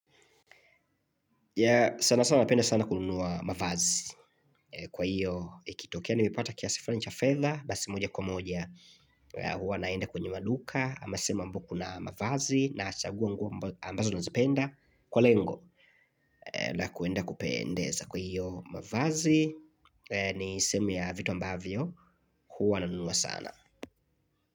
Ya sana sana napenda sana kununua mavazi Kwa hiyo ikitokea Nimepata kiasi fulani cha fedha Basi moja kwa moja huwa naenda kwenye maduka Ama sehemu ambayo kuna mavazi Naachagua nguo ambazo nazipenda Kwa lengo la kuenda kupendeza Kwa hiyo mavazi ni sehemu ya vitu ambavyo huwa nanunua sana.